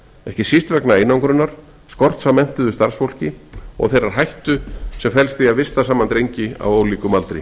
ekki síst vegna einangrunar skorts á menntuðu starfsfólki og þeirrar hættu sem felst í að vista saman drengi á ólíkum aldri